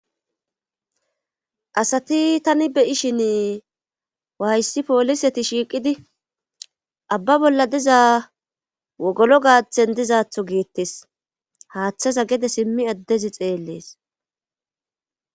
asati tani beyi shin waayssi pooliseti shiiqidi abba bolla diza wogolo gaaththen dizaatho giittes haaththaza gede simmi addezi xeellees